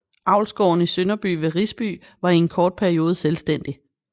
Avlsgården i Sønderby ved Risby var i en kort periode selvstændig